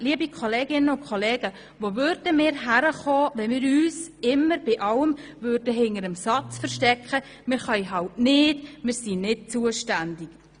Liebe Kolleginnen und Kollegen, wo würden wir hinkommen, wenn wir uns bei allem immer hinter dem Satz versteckten «Wir können halt nicht, wir sind nicht zuständig»?